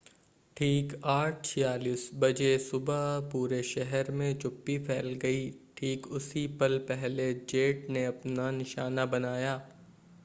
ठीक 8:46 बजे सुबह पूरे शहर मे चुप्पी फैल गई ठीक उसी पल पहले जेट ने अपना निशाना बनाया